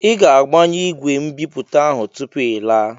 I ga-agbanyụ ìgwè mbipụta ahụ tupu ị laa!